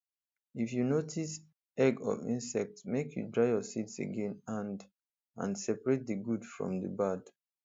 if you notice egg of insect make you dry your seed again and and separate the good from the bad